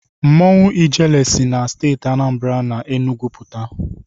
Mmanwụ Ijele si na Steeti Anambara na Enugwu pụta.